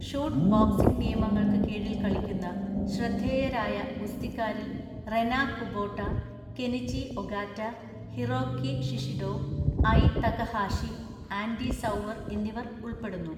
Shoot boxing നിയമങ്ങൾക്ക് കീഴിൽ കളിക്കുന്ന ശ്രദ്ധേയരായ ഗുസ്തിക്കാരിൽ Rena Kubota, Kenichi Ogata, Hiroki Shishido, Ai Takahashi, Andy Souwer എന്നിവർ ഉൾപ്പെടുന്നു.